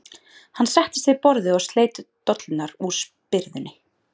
Hann settist við borðið og sleit dollurnar úr spyrðunni.